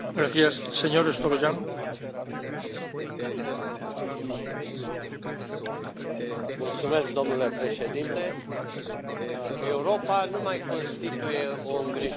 Domnule președinte, Europa nu mai constituie o îngrijorare pentru restul lumii în ceea ce privește creșterea economică și reducerea șomajului.